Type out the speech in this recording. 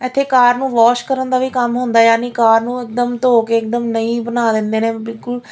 ਇੱਥੇ ਕਾਰ ਨੂੰ ਵਾਸ਼ ਕਰਨ ਦਾ ਵੀ ਕੰਮ ਹੁੰਦਾ ਯਾਨੀ ਕਾਰ ਨੂੰ ਇਕਦਮ ਧੋ ਕੇ ਇਕਦਮ ਨਈ ਬਣਾ ਦਿੰਦੇ ਨੇ ਬਿਲਕੁਲ--